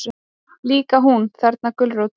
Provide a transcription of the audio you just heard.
Líka hún, þarna gulrótin.